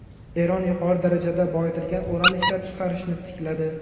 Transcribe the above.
Eron yuqori darajada boyitilgan uran ishlab chiqarishni tikladi.